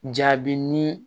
Jaabi ni